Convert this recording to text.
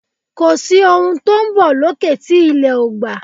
Kòsí ohun tó n bọ̀ lókè tí ilẹ̀ ò gbà